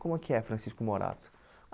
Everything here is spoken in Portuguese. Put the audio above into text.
Como é que é Francisco Morato?